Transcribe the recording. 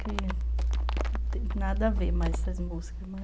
Que tem nada a ver mais essas músicas, mas...